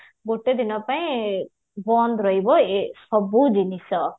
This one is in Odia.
ଗୋଟେ ଦିନ ପାଇଁ ବନ୍ଦ ରହିବେ ସବୁ ଜିନିଷ